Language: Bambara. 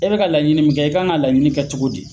E bika laɲini min kɛ i kan ka laɲini kɛ cogo di